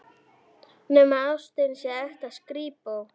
Nema ástin sé ekta skrípó.